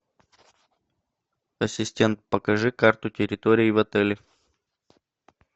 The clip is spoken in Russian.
ассистент покажи карту территории в отеле